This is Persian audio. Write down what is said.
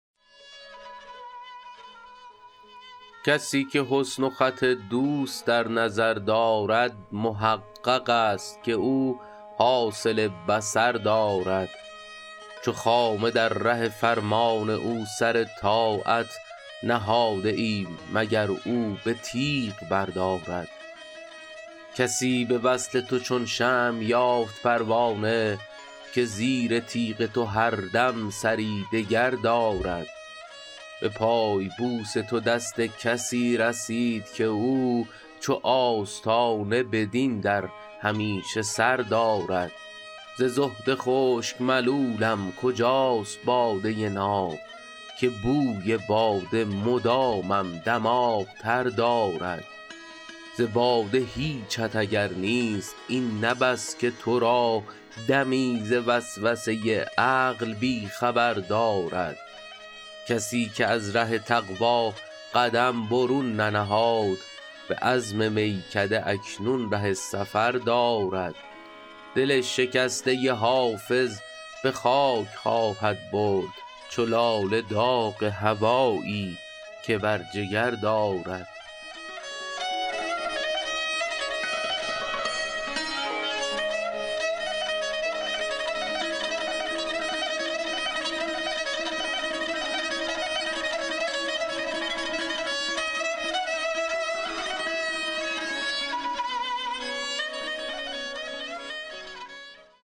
کسی که حسن و خط دوست در نظر دارد محقق است که او حاصل بصر دارد چو خامه در ره فرمان او سر طاعت نهاده ایم مگر او به تیغ بردارد کسی به وصل تو چون شمع یافت پروانه که زیر تیغ تو هر دم سری دگر دارد به پای بوس تو دست کسی رسید که او چو آستانه بدین در همیشه سر دارد ز زهد خشک ملولم کجاست باده ناب که بوی باده مدامم دماغ تر دارد ز باده هیچت اگر نیست این نه بس که تو را دمی ز وسوسه عقل بی خبر دارد کسی که از ره تقوا قدم برون ننهاد به عزم میکده اکنون ره سفر دارد دل شکسته حافظ به خاک خواهد برد چو لاله داغ هوایی که بر جگر دارد